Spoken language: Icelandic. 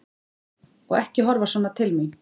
Og ekki horfa svona til mín!